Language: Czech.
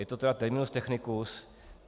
Je to tedy terminus technicus.